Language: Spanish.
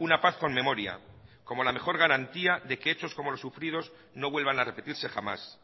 una paz con memoria como la mejor garantía de que hechos como los sufridos no vuelvan a repetirse jamás